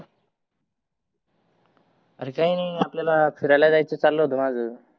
अरे काही नाही आल्याला फिरायला जायच चाल होत माझ